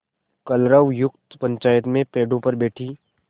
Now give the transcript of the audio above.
कलरवयुक्त पंचायत पेड़ों पर बैठी